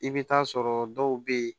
I bɛ taa sɔrɔ dɔw bɛ yen